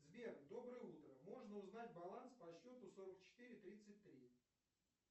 сбер доброе утро можно узнать баланс по счету сорок четыре тридцать три